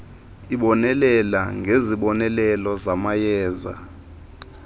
ibonelela ngezibonelelo zamayeza